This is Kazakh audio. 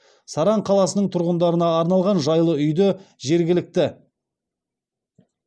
саран қаласының тұрғындарына арналған жайлы үйді жергілікті